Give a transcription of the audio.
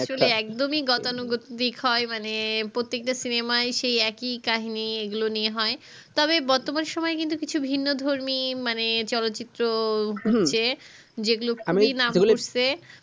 আসলে একদমি গতানুগতীর দিক হয় মানে প্রত্যেক টা cinema সেই একই কাহিনী এগুলো নিয়ে হয় তবে গতবার সময় কিন্তু কিছু ভিন্ন ধর্মী মানে চলচিত্র হচ্ছে যেগুলো কি নাম হসছে